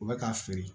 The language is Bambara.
U bɛ k'a feere